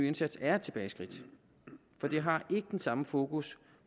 indsats er et tilbageskridt for det har ikke den samme fokus